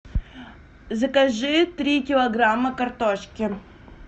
закажи три килограмма картошки